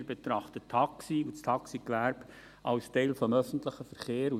Wir betrachten Taxis und das Taxigewerbe als Teil des öffentlichen Verkehrs.